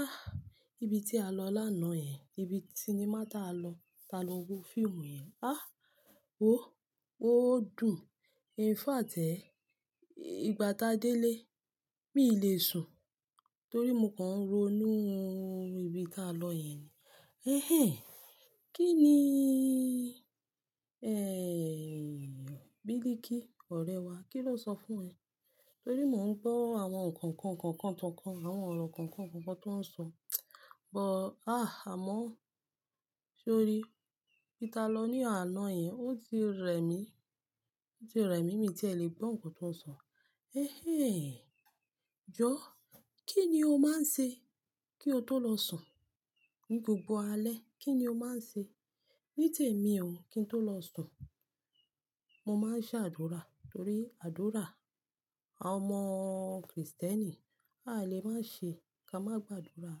Ah, ibi tí a lọ lánàá yẹn, ibi sinimá tí a lọ, tá lọ wo fíìmù yẹn. Ah, wò ó dùn. In fact ẹ́. Ìgbà tá délé, mi le sùn torí mo kan ń ro inú ibi tí a lọ yẹn. "Ẹ̀hẹ́n, kí ni, ẹ́, Bílíkì, ọ̀rẹ́ wa, kíló sọ fún ẹ?" Torí mò ń gbọ́ àwọn kọ̀nkọ̀n kọ̀nkọ̀n tọ̀nkọ̀n, àwọn ọ̀rọ̀ kọ̀nkọ̀n kọ̀nkọ̀n tó ń sọ. Bo ah, àmọ́ ṣé o rí i? Ibi tí a lọ ní àná yẹn ó ti rẹ̀ mí, ó ti rẹ́ mi mí tí ẹ lè gbọ́ nǹkan tó ń sọ. "Ẹ̀hẹ́n, Jọ́, kí ni o máa ń ṣe kí o tó lọ sùn ní gbogbo alẹ́? Kí ni o máa ń ṣe ní tèmi o kí n tó lọ sùn?" Mo máa ń ṣe àdúrà torí àdúrà àwọn ọmọ Krìstẹ́nì a lè má ṣe ká má gba àdúrà.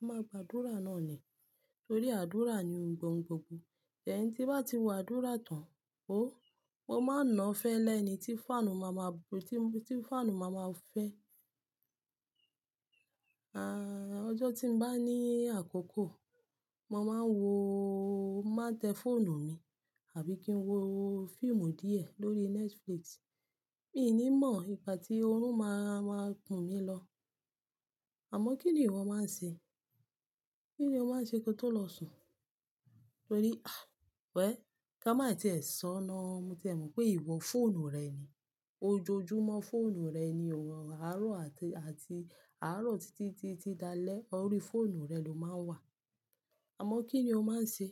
A máa gba àdúrà náà ni torí àdúrà ni ohun gbogbò. Ẹni tí bá ti wo àdúrà tán, òh, mo máa ń nà á fẹ́lẹ́ ni tí fáànù máa ma ti fáànù máa ma fẹ́. Ah, ọjọ́ tí n bá ní àkókò, mo máa ń wòó, máa tẹ fóònù mi, àbí kí n wo fíìmù díẹ̀ lórí Netflix. Mi ò ní mọ̀ ìgbà tí orun máa ma kùn mí lọ. Àmọ́ kí ni wọn máa ń ṣe? Kí ni o máa ń ṣe kí o tó lọ sùn? Torí ah wẹ́ẹ́, ká má tẹ́ ẹ sọ́ná. Mo tẹ́ ẹ mọ̀ pé ìwọ fóònù rẹ̀ ni. Ojoojúmọ́ fóònù rẹ ni o wọ̀. Àárọ̀ àti, àti àárọ̀ títí tí ti dalẹ́, ọ rí fóònù rẹ ló máa ń wà. Àmọ́ kí ni o máa ń ṣe?